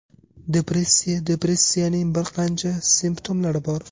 Depressiya Depressiyaning bir qancha simptomlari bor.